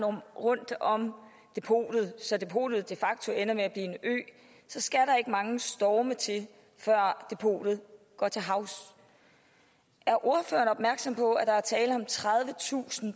rundt om depotet så depotet de facto ender med at blive en ø så skal der ikke mange storme til før depotet går til havs er ordføreren opmærksom på at der er tale om tredivetusind